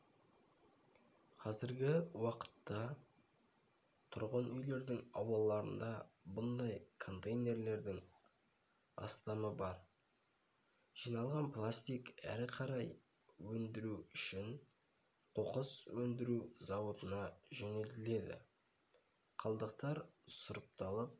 қазіргі уақытта тұрғын-үйлердің аулаларында бұндай контейлердерің астамы бар барлық жиналған пластик әрі қарай өндіру үшін қоқыс өндіру зауытына жөнелтіледі қалдықтар сұрыпталып